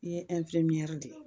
I ye de ye